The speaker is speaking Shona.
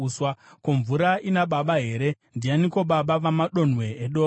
Ko, mvura ina baba here? Ndianiko baba vemadonhwe edova?